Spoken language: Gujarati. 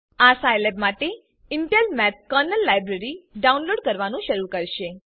આ સાઈલેબ માટે Intel math kernel library download કરવાનું શરૂ કરશે